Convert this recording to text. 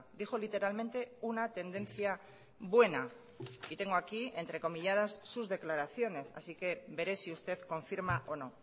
dijo literalmente una tendencia buena y tengo aquí entrecomilladas sus declaraciones así que veré si usted confirma o no